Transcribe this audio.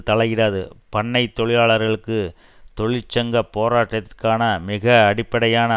தலையிடாது பண்ணை தொழிலாளர்களுக்கு தொழிற்சங்க போராட்டத்திற்கான மிக அடிப்படையான